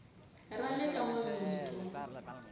ra le ka n wamitwa